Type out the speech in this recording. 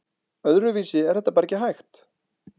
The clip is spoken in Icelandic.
Öðruvísi er þetta bara ekki hægt